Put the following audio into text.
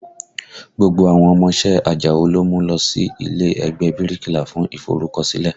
Gbogbo àwọn ọmọ iṣẹ́ Àjàó ló mú lọ sí ilé ẹgbẹ́ ẹ bíríkìlà fún iforukosile